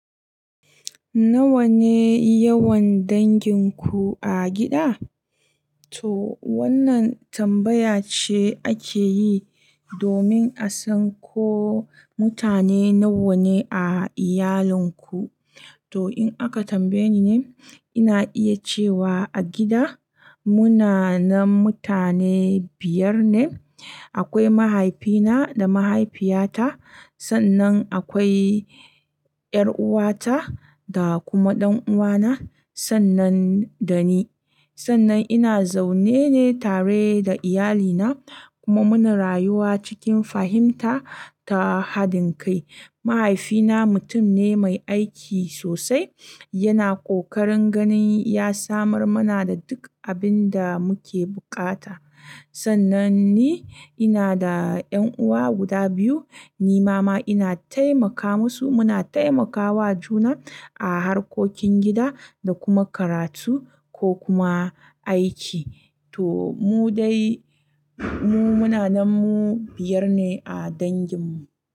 Nawa ne yawan danginku a gida? To wannan tambaya ce ake yi domin a san ko mutane nawa ne a iyalinku. To in aka tambaye ni ne, ina iya cewa a gida muna na mutane biyar ne. Akwai mahaifina da mahaifiyata, sannan akwai ƴar'uwata da kuma ɗan'uwana, sannan da ni. Sannan ina zaune ne tare da iyalina kuma muna rayuwa cikin fahimta da haɗin kai. Mahaifina mutum ne mai aiki sosai, yana kokarin ganin ya samar mana da duk abin da muke buƙata. Sannan ni, ina da ƴan'uwa guda biyu, ni ma ma ina taimaka musu, muna taimakawa juna a harkokin gida da kuma karatu ko kuma aiki. To mu dai, mu muna na mu biyar ne a danginmu.